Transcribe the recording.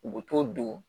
U bɛ t'o don